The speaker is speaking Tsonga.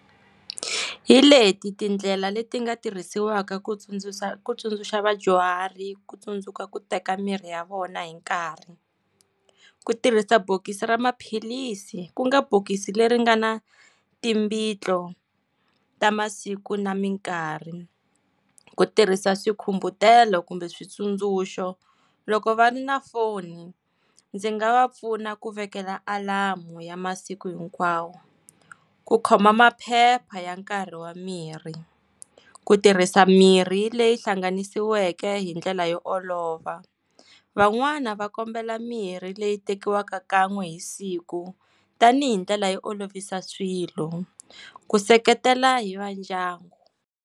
Hi leti tindlela leti nga tirhisiwaka ku tsundzuxa ku tsundzuxa vadyuhari ku tsundzuka ku teka mirhi ya vona hi nkarhi, ku tirhisa bokisi ra maphilisi ku nga bokisi leri nga na timbitlo ta masiku na mikarhi, ku tirhisa swikhumbutelo kumbe switsundzuxo. Loko va ri na foni, ndzi nga va pfuna ku vekela alamu ya masiku hinkwawo, ku khoma maphepha ya nkarhi wa miri, ku tirhisa mirhi leyi hlanganisiweke hindlela yo olova. Van'wana va kombela mirhi leyi tekiwaka kan'we hi siku tanihi ndlela yo olovisa swilo, ku seketela hi va ndyangu.